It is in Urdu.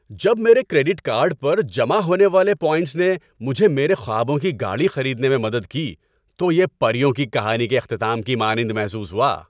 جب میرے کریڈٹ کارڈ پر جمع ہونے والے پوائنٹس نے مجھے میرے خوابوں کی گاڑی خریدنے میں مدد کی تو یہ پریوں کی کہانی کے اختتام کی مانند محسوس ہوا۔